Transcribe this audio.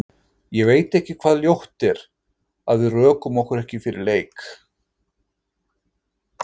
Ég veit ekki hvað ljótt er, að við rökum okkur ekki fyrir leik?